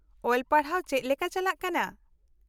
-ᱚᱞ ᱯᱟᱲᱦᱟᱣ ᱪᱮᱫ ᱞᱮᱠᱟ ᱪᱟᱞᱟᱜ ᱠᱟᱱᱟ ?